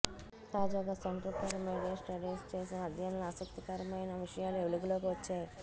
తాజాగా centre for media studies చేసిన అధ్యయనంలో ఆసక్తికరమైన విషయాలు వెలుగులోకి వచ్చాయి